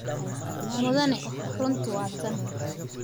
Mudane, runtu waa tan.